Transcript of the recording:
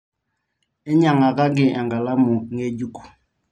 enyiangakaki enkalamu ngejuk